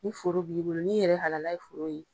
Ni foro b'i bolo, ni yɛrɛ halala ye foro ye